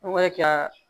An bɛ ka